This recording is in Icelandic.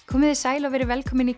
komiði sæl og verið velkomin í